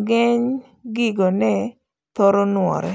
ng'eng' gigo ne thoro nuore.